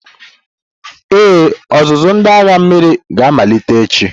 Ee, ọzụzụ ndị agha mmiri ga-amalite echi.